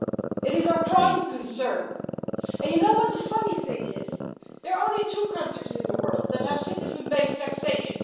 It is our prime concern, and you know what the funny thing is, there are only two countries in the world that have citizen based taxation.